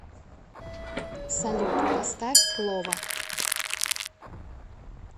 салют поставь лова